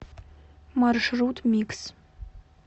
маршрут микс